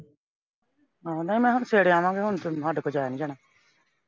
ਆਹੋ ਨਹੀਂ ਮਖਾਂ ਸਵੇਰੇ ਆਵਾਂਗੇ ਹੁਣ ਤਾਂ ਸਾਡੇ ਕੋਲੋਂ ਜਾਇਆ ਨੀ ਜਾਣਾ।